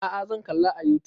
A'a zan kalla a youtube